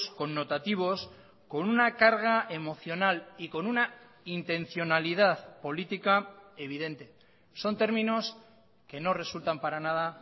connotativos con una carga emocional y con una intencionalidad política evidente son términos que no resultan para nada